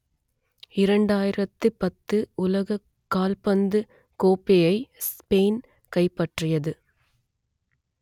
இரண்டாயிரத்து பத்து உலக கால்பந்து கோப்பையை ஸ்பெயின் கைப்பற்றியது